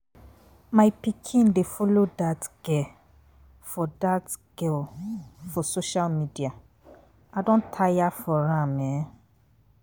My pikin dey follow dat girl for that girl for social media. I do tire for am.